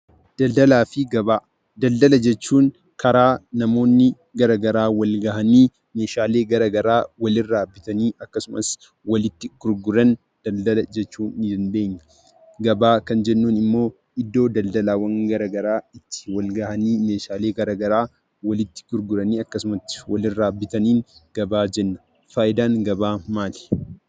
Daldalaafi gabbaa; daldala jechuun, karaa namooni garagaraa Wal ga'ani meeshaalee garagaraa Wal irraa bitaani akkasumas, walitti gurguraan daldala jechuu ni dandeenyaa. Gabbaa Kan jennuun immoo iddoo daldalaawwan garagaraa itti wal ga'ani meeshaalee garagaraa walitti gurguraani akkasumas, Wal irraa bitaanii gabbaa Jenna. Faayidaan gabbaa maali?